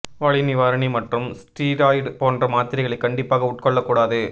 வலி நிவாரணி மற்றும் ஸ்டீராய்டு போன்ற மாத்திரைகளை கண்டிப்பாக உட்கொள்ள கூடாது